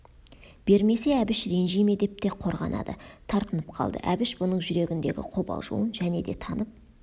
бермесе әбіш ренжи ме деп те қорғанады тартынып қалды әбіш бұның жүрегіндегі қобалжуын және де танып